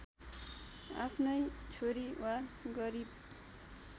आफ्नै छोरी वा गरिब